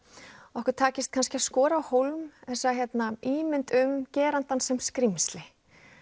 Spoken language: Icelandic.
okkur takist kannski að skora á hólm þessa ímynd um gerandann sem skrímsli